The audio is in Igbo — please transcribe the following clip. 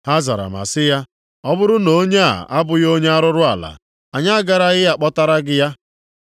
Ha zara ma sị ya, “Ọ bụrụ na onye a abụghị onye arụrụala, anyị agaraghị akpọtara gị ya.”